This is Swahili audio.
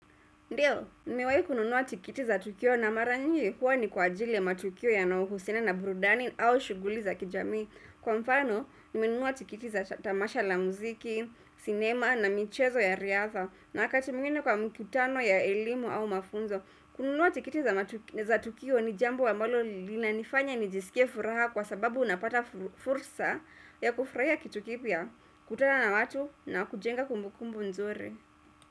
Ndio, nimewahi kununua tikiti za tukio na mara nyingi huwa ni kwa ajili ya matukio yanayohusiana na burudani au shughuli za kijamii. Kwa mfano, nimenunua tikiti za tamasha la muziki, sinema na michezo ya riadha na wakati mwingine kwa mikutano ya elimu au mafunzo. Kubuniwa tikiti za tukio ni jambo ambalo linanifanya nijisikie furaha kwa sababu unapata fursa ya kufurahia kitu kipya, kukutana na watu na kujenga kumbukumbu nzuri.